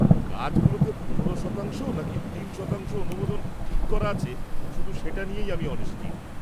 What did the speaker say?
কাজগুলোতে পনেরো শতাংশ নাকি তিন শতাংশ অনুমোদন ঠিক করা আছে শুধু সেটা নিয়েই আমি অনিশ্চিত।